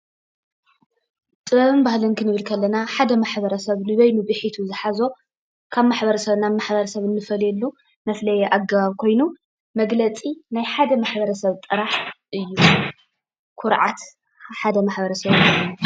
ጥበብን ባህልን ክንብል ከለና ሓደ ማሕበረ ሰብ ንበይኑ ቢሒቱ ዝሓዞ ካብ ማሕበረሰብ ናብ ማሕበረሰብ እንፈልየሉ መፍለይ ኣገባብ ኮይኑ መገለፂ ናይ ሓደ ማሕበረ ሰብ ጥራሕ እዩ፡፡ ኩርዓት ሓደ ማሕበረሰብ ድማ እዩ፡፡